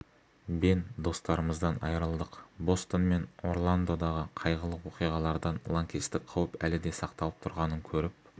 бен достарымыздан айырылдық бостон мен орландодағы қайғылы оқиғалардан лаңкестік қауіп әлі де сақталып тұрғанын көріп